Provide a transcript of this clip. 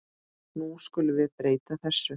Nú skulum við breyta þessu.